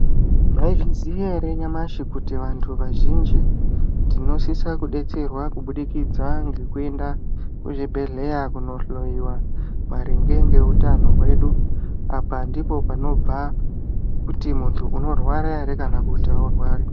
Mwaizviziya ere nyamashi kuti vazhinji tinosisa kudetserwa kubudikidza ngekuenda kuzvibhedhlera kunohloiwa maringe ngeutano hwedu, apa ndipo panobva kuti muntu unorwara ere kana kuti aurwari?.